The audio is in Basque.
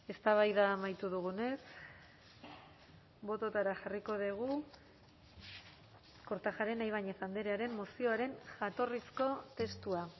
eztabaida amaitu dugunez bototara jarriko dugu kortajarena ibañez andrearen mozioaren jatorrizko testua